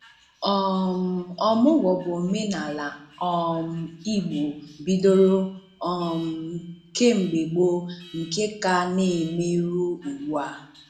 um Ọmụ̀gwó bụ ọ̀menàalá um Igbo bídòrò um kem̀bè gboo nke ka na-emè ruò ugbụ̀a.